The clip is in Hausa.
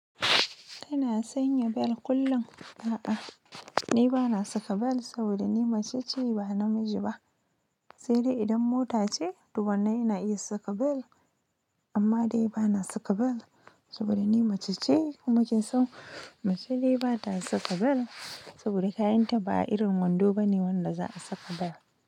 Kana sanya bel kullum? A'a, ni ba na saka bel saboda ni mace ce ba namiji ba. Sai dai idan mota ce, to wannan ina iya saka bel. Amma dai ba na saka bel saboda ni mace ce. Mace dai bata saka bel. Saboda kayan ta ba irin wando bane wanda za a saka bel.